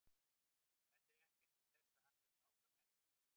Það bendir ekkert til þess að hann verði áfram eftir þann samning.